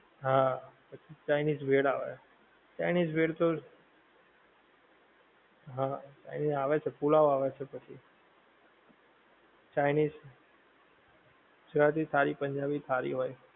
હા પછી ચાઇનિજ ભેળ આવે. ચાઇનિજ ભેળ તો. હા ચાઇનિજ આવે છે પુલાવ આવે છે પછી. ચાઇનિજ. સારી પંજાબી થાળી હોય